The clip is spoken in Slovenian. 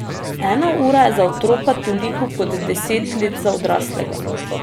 Ena ura je za otroka toliko kot deset let za odraslega.